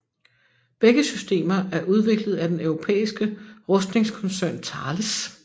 Begge systemer er udviklet af den europæiske rustningskoncern Thales